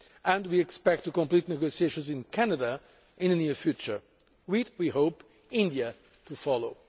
and we expect to complete negotiations with Canada in the near future, with, we hope, India to follow.